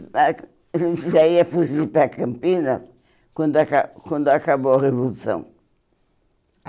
já ía fugir para Campinas quando aca quando acabou a Revolução.